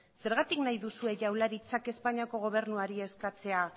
zergatik nahi duzue jaurlaritzak espainiako gobernuari eskatzea